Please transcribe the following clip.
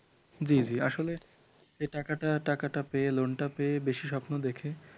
জি জি আসলে যে টাকাটা টাকাটা পেয়ে লোনটা পেয়ে বেশি স্বপ্ন দেখে